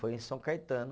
Foi em São Caetano.